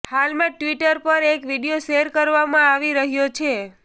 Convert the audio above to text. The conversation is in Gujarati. હાલમાં જ ટ્વિટર પર એક વીડિયો શેર કરવામાં આવી રહ્યો છે